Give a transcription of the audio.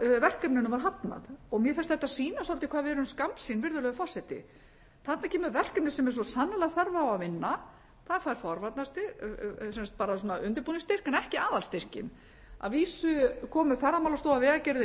aðalverkefninu var hafnað mér finnst þetta sýna svolítið hvað við erum skammsýn virðulegur forseti þarna kemur verkefni sem er svo sannarlega þörf á að vinna það fær bara svona undirbúningsstyrk en ekki aðalstyrkinn að vísu komu ferðamálastofa vegagerðin